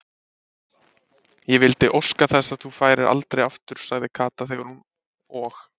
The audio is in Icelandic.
Ég vildi óska þess að þú færir aldrei aftur sagði Kata þegar hún og